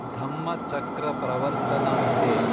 Dhammachakra Pravartana day